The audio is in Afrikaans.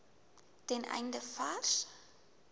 ten einde vars